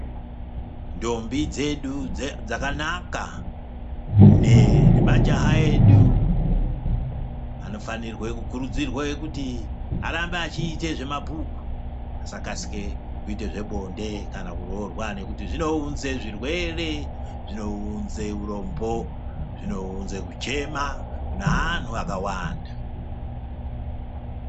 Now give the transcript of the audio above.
Ndombi dzedu dze dzakanaka ne nemajaha anofanirwe kukurudzirwe kuti arambe achiite zvemabhuku asakasire kuite zvebonde kana kuroorwa nekuti zvinounze zvirwere zvinounze urombo zvinounze kuchema kune anhu akawanda.